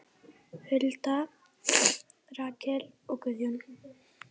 Hulda, Rakel og Guðjón.